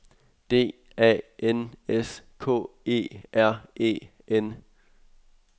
D A N S K E R E N